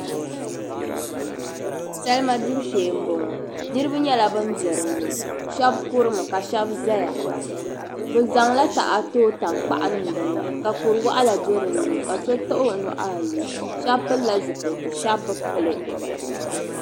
Salima gbibu shee m-bɔŋɔ niriba nyɛla bin be dini shɛba kurimi ka shɛba zaya bɛ zaŋla taha tooi tankpaɣu niŋ din ni ka kur'wɔɣila do din ni ka so taɣi o nuhi ayi shɛba pilila zipiliti shɛba bi pili.